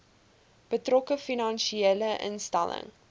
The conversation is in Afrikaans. betrokke finansiële instelling